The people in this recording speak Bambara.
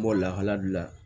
N b'o lahala de la